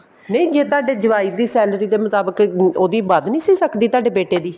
ਨਹੀਂ ਜੇ ਤੁਹਾਡੇ ਜਵਾਈ ਦੀ salary ਦੇ ਮੁਤਾਬਿਕ ਉਹਦੀ ਵੱਧ ਨਹੀਂ ਸੀ ਸਕਦੀ ਤੁਹਾਡੇ ਬੇਟੇ ਦੀ